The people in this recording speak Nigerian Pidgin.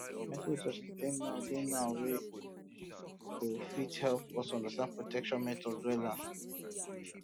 plenty resources dey now dey now wey go fit help um us understand protection um methods wella